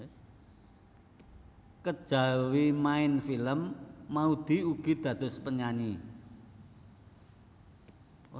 Kejawi maèn film Maudy ugi dados penyanyi